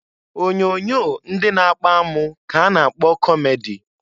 Onyoonyo ndị na-akpa amụ ka a na-kpọ kọmedi.